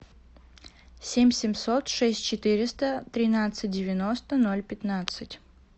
семь семьсот шесть четыреста тринадцать девяносто ноль пятнадцать